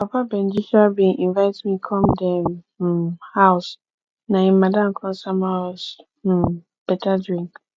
papa benji um bin invite me come dem um house na im madam come sama us um better drink